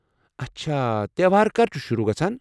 اچھا تیوہار کر چھُ شروع گژھان؟